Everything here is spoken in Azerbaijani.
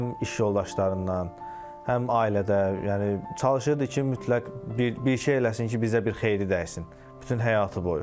Həm iş yoldaşlarından, həm ailədə, yəni çalışırdı ki, mütləq bir şey eləsin ki, bizə bir xeyri dəysin bütün həyatı boyu.